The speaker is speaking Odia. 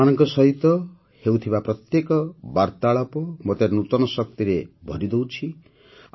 ଆପଣମାନଙ୍କ ସହିତ ହେଉଥିବା ପ୍ରତ୍ୟେକ ବାର୍ତ୍ତାଳାପ ମୋତେ ନୂତନ ଶକ୍ତିରେ ଭରିଦେଉଛି